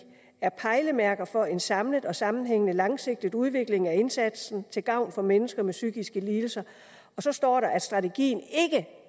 er pejlemærke for en samlet og sammenhængende langsigtet udvikling af indsatsen til gavn for mennesker med psykiske lidelser og så står der videre strategien